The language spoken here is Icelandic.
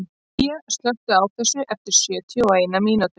Gígja, slökktu á þessu eftir sjötíu og eina mínútur.